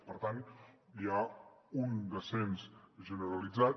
per tant hi ha un descens generalitzat